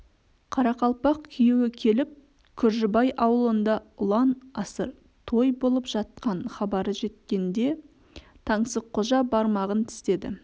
қарақалпақ күйеуі келіп күржібай ауылында ұлан асыр той болып жатқан хабары жеткенде таңсыққожа бармағын тістеді